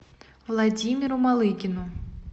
владимиру малыгину